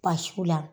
Basiw la